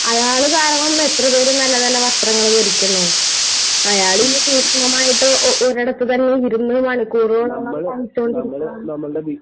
..അയാള് കാരണം എത്രപേര് നല്ലനല്ല വസ്ത്രങ്ങൾ ധരിക്കുന്നു. അയാൾ ഈ സൂക്ഷ്മമായിട്ട് ഒരിടത്ത് തന്നെ ഇരുന്ന് മണിക്കൂറുകളോളം തയ്ച്ചുകൊണ്ടിരിക്കാണ്...